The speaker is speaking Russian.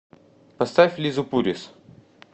поставь лизу пурис